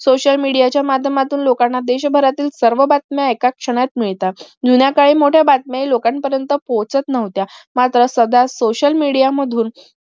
social media च्या माध्यमातून लोकांना देश भरातील सर्व बातम्या एका क्षणात मिळतात जुन्या काळी मोठ्या बातम्या हि लोकांपर्यंत पोचत नव्हत्या मात्र साध्या social media मधून